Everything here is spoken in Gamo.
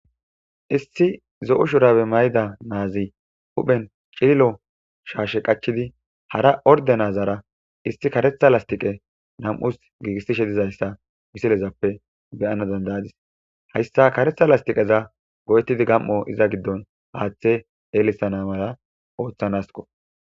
Issi zo'u shurabe mayida naazi huphen cillo shaashe qachidi hara orde nazara issi karetha lastiqe nam'us giigistishe dizayssa misilezappe beyana dandayadis hayssa karetha lastiqeza go7'etidi gam'o iza giddon haaththe eelisana mala ooththanasko.